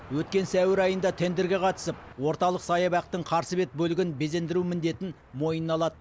өткен сәуір айында тендрге қатысып орталық саябақтың қарсы бет бөлігін безендіру міндетін мойына алады